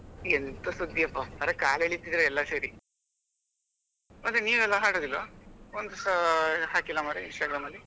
ಎಂಥ ಸುದ್ದಿ ಅಪ್ಪ ಅರೇ ಕಾಲ್ ಎಳಿತಿದೀರಾ ಎಲ್ಲ ಸೇರಿ ಮತ್ತೆ ನೀವೆಲ್ಲ ಹಾಡೋದಿಲ್ವಾ ಒಂದು ಸ ಹಾಕಿಲ್ಲ ಮರ್ರೆ Instagram ಅಲ್ಲಿ?